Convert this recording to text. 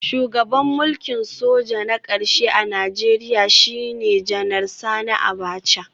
Shugaban mulkin soja na karshe a Najeriya shine Janar Sani Abacha